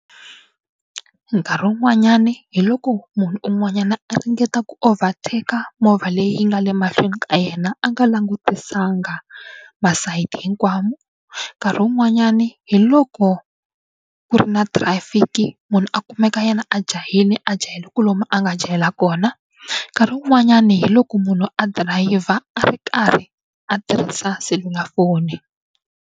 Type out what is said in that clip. Nkarhi wun'wanyani hi loko munhu un'wanyana a ringeta ku overtaker movha leyi nga le mahlweni ka yena a nga langutiselanga masayiti hinkwawo. Nkarhi wun'wanyani hi loko ku ri na traffic munhu a kumeka yena a jahile a jahele ku lomu a nga jahela kona nkarhi wun'wanyana hi loko munhu a dirayivha a ri karhi a tirhisa selulafoni.